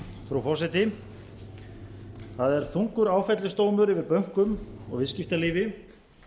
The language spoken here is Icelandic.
frú forseti það er þungur áfellisdómur yfir bönkum og viðskiptalífi